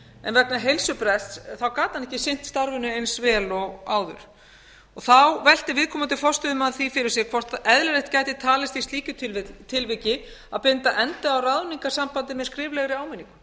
en vegna heilsubrests gat hann ekki sinnt starfinu eins vel og áður þá velti viðkomandi forstöðumaður því fyrir sér hvort eðlilega gæti talist í slíku tilviki að binda endi á ráðningarsambandið með skriflegri áminningu mér finnst það ekkert